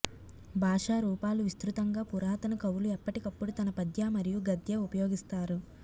భాషా రూపాలు విస్తృతంగా పురాతన కవులు ఎప్పటికప్పుడు తన పద్య మరియు గద్య ఉపయోగిస్తారు